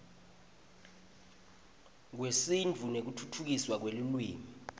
kwesintfu nekutfutfukiswa kwelulwimi